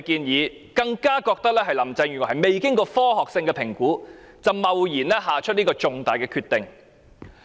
市民更加認為，林鄭月娥未經科學性評估，便貿然作出這個重大決定。